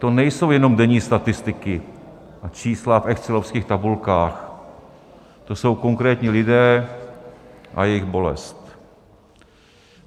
To nejsou jenom denní statistiky a čísla v excelovských tabulkách, to jsou konkrétní lidé a jejich bolest.